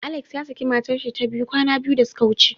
Alex yasaki matarshi ta biyu kwana biyu da suka wuce.